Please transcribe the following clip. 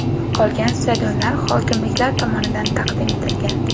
Qolgan stadionlar hokimliklar tomonidan taqdim etilgan.